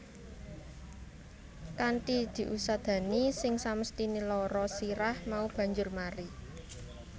Kanthi diusadani sing samesthine lara sirah mau banjur mari